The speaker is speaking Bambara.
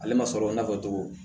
Ale ma sɔrɔ n'a fɔ cogo